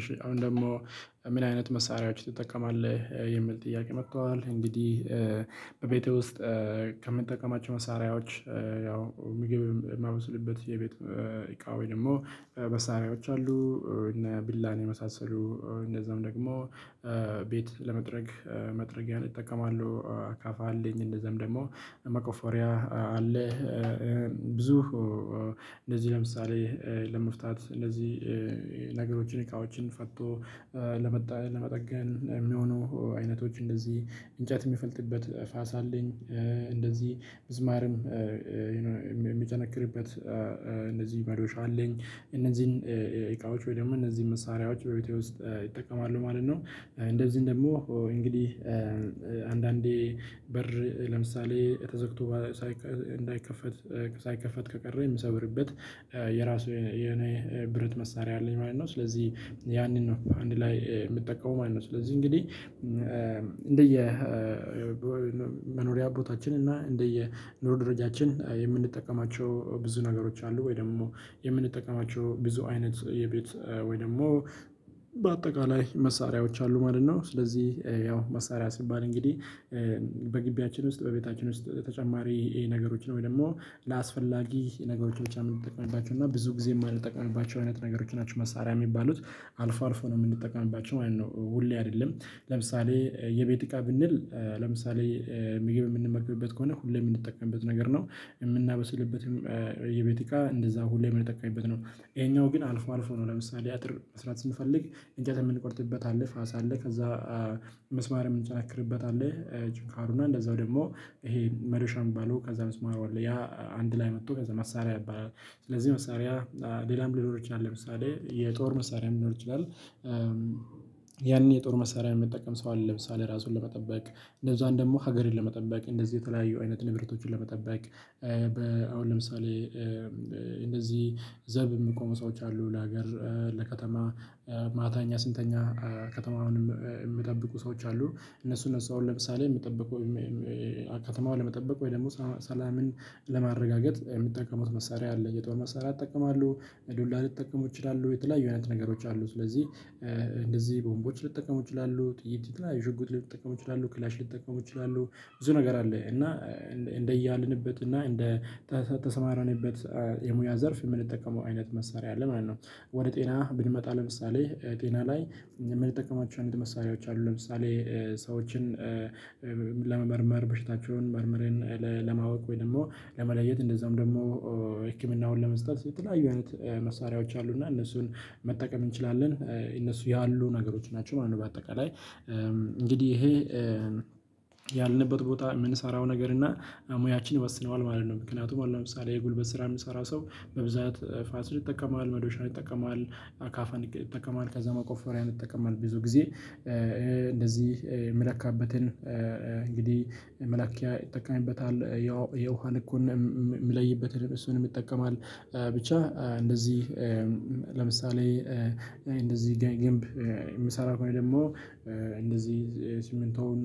እሺ አሁን ደግሞ? ምን አይነት መሳሪያዎችን ትጠቀማለህ የሚል ጥያቄ መጥተዋል እንግዲህ በቤቴ ውስጥ ከምንጠቀማቸው መሳሪያዎች ያው ምግብ ማበስልበት የቤት እቃዎች ደግሞ መሳሪያዎች አሉ። እነ ቢላን የመሳሰሉ እንደዛውም ደግሞ ቤት ለመጥረግ መጥረጊያን እጠቀማለው አካፋ አለኝ። እንደዛውም ደግሞ መቆፈሪያ አለ። ብዙ እንደዚህ ለምሳሌ ለመፍታት እነዚህ ነገሮችን እቃዎችን ፈቶ ለመጠገን ሚሆኑ አይነቶች እንደዚህ እንጨት ሚፈልጥበት ፋስ አለኝ። እንደዚህ ምዝማርም የሚጨነክርበት እንደዚህ መዶሻ አለኝ። እነዚህን እቃዎች ወይ ደግሞ እነዚህን መሳሪያዎች በቤቴ ውስጥ እጠቀማሉ ማለት ነው። እንደዚህ ደግሞ እንግዲህ አንዳንዴ በር ለምሳሌ ተዘግቶ ሳይከፈት እንዳይከፈት ሳይከፈት ከቀረ ምሰበርበት የራሱ የኔ ብረት መሳሪያ አለኝ ማለት ነው። ስለዚህ ያንን ነው አንድ ላይ ምትጠቀመው ማለት ነው። ስለዚህ እንግዲህ እንደየ መኖሪያ ቦታችን እና እንደየ ኑሮ ደረጃችን የምንጠቀማቸው ብዙ ነገሮች አሉ ወይ ደግሞ የምንጠቀማቸው ብዙ አይነት የቤት ወይ ደግሞ በአጠቃላይ መሳሪያዎች አሉ ማለት ነው። ስለዚህ ያው መሳሪያ ሲባል እንግዲህ በግቢያችን ውስጥ በቤታችን ውስጥ ተጨማሪ ይሄ ነገሮች ነው ወይ ደግሞ ለአስፈላጊ ነገሮች ብቻ ምንጠቀምባቸው እና ብዙ ጊዜ ማልጠቀምባቸው አይነት ነገሮች ናቸው መሳሪያ ሚባሉት። አልፎ አልፎ ነው ምንጠቀምባቸው ማለት ነው ሁሌ አደለም። ለምሳሌ የቤት እቃ ብንል ለምሳሌ ምግብ ምንመግብበት ከሆነ ሁሌ ምንጠቀምበት ነገር ነው እምናበስልበትም የቤቲካ እንደዛ ሁሌ ምንጠቀምበት ነው። እሄኛው ግን አልፎ አልፎ ነው ለምሳሌ አጥር መስራት ስንፈልግ እንጨት የምንቆርጥበት አለ ፋሳ አለ ከዛ መስማር የምንጨነክርበታለህ ችካሩና እንደዛው ደግሞ ይሄ መዶሻ ሚባለው ከዛ ምስማሩ አለ ያ አንድ ላይ መቶ ከዛ መሳሪያ ይባላል ስለዚህ መሳሪያ ሌላም ሊኖር ይችላል ለምሳሌ የጦር መሳሪያ ሊኖር ይችላል። ያንን የጦር መሳሪያ ሚጠቀም ሰው አለ ለምሳሌ ራሱን ለመጠበቅ እንደዛ እንደውም ሀገርን ለመጠበቅ እንደዚህ የተለያዩ አይነት ንብረቶችን ለመጠበቅ በ አሁን ለምሳሌ እንደዚህ ዘብ እሚቆሙው ሰዎች አሉ ለሀገር ለከተማ ማታ እኛ ስንተኛ ከተማውን ሚጠብቁ ሰዎች አሉ። እነሱ እነሱ አሁን ለምሳሌ ምጠብቀው ከተማዋ ለመጠበቅ ወይ ደግሞ ሰላምን ለማረጋገጥ ሚጠቀሙት መሳሪያ አለ የጦር መሳሪያ ይጠቀማሉ በዱላ ልጠቀሙ ይችላሉ የተለያዩ አይነት ነገሮች አሉ ስለዚህ እንደዚህ ቦምቦች ልጠቀሙ ይችላሉ ጥይት ላይ ሽጉጥ ልጠቀሙ ይችላሉ ክላሽ ልጠቀሙ ይችላሉ። ብዙ ነገር አለ እና እንደ እያልንበት እና እንደ ተሰማረንበት የሙያ ዘርፍ የምንጠቀመው አይነት መሳሪያ አለ ማለት ነው። ወደ ጤና ብንመጣ ለምሳሌ ጤና ላይ ምንጠቀማቸውን አይነት መሳሪያዎች አሉ ለምሳሌ ሰዎችን ለመመርመር በሽታቸውን መርምርን ለማወቅ ወይም ደግሞ ለመለየት እንደዛውም ደግሞ ህክምናውን ለመስጠት የተለያዩ አይነት መሳሪያዎች አሉ እና እነሱን መጠቀም እንችላለን። እነሱ ያሉ ነገሮች ናቸው ማለት ነው። በአጠቃላይ እንግዲህ ይሄ ያልንበት ቦታ ምንሰራው ነገር እና ሙያችን ይወስነዋል ማለት ነው። ምክንያቱም አሁን ምሳሌ የጉልበት ስራ ሚሰራ ሰው በብዛት ፋስን ይጠቀማል መዶሻን ይጠቀማል አካፋን ይጠቀማል ከዛ መቆፈሪያ ይጠቀማል ብዙ ጊዜ እንደዚህ የምለካበትን እንግዲህ መላኪያ ይጠቀምበታል ያው የውሃ ልኩንም ምለይበት እሱንም ይጠቀማል። ብቻ እንደዚህ ለምሳሌ እንደዚህ ግንብ ምሰራው ከሆነ ደግሞ እንደዚህ ሲምንቶውን